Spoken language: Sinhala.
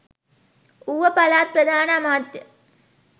ඌව පළාත් ප්‍රධාන අමාත්‍ය